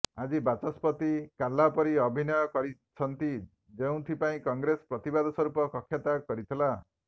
ଆଜି ବାଚସ୍ପତି କାଲା ପରି ଅଭିନୟ କରିଛନ୍ତି ଯେଉଁଥିପାଇଁ କଂଗ୍ରେସ ପ୍ରତିବାଦ ସ୍ୱରୂପ କକ୍ଷତ୍ୟାଗ କରିଥିଲା